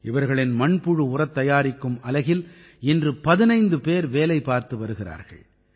இவர்களின் மண்புழு உரத் தயாரிக்கும் அலகில் இன்று 15 பேர் வேலைபார்த்து வருகிறார்கள்